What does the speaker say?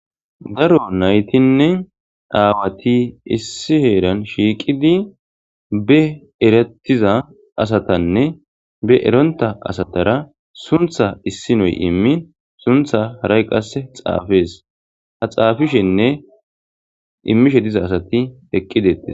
Daro nayiti nne awati issi heran shiqidi be eretida asatanne be erontha asatara suntha isinoyi imin suntha harayi qase xafes ha xafishe nne imishe diza asati eqidi detees